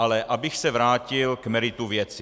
Ale abych se vrátil k meritu věci.